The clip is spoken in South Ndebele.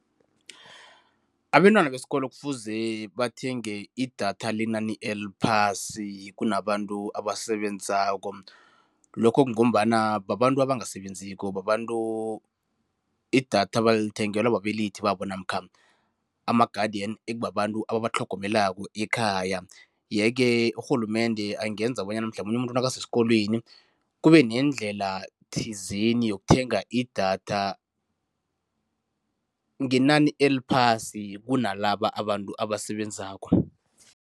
Abentwana besikolo kufuze bathenge idatha lenani eliphasi kunabantu abasebenzako. Lokho kungombana babantu abangasebenziko, babantu idatha balithengelwa babelethi babo namkha ama-guardian, ekubabantu ababatlhogomelako ekhaya yeke urhulumende angenza bonyana mhlamunye umuntu nakasesikolweni, kubenendlela thizeni yokuthenga idatha ngenani eliphasi kunalaba abantu abasebenzako.